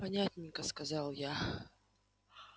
понятненько сказал я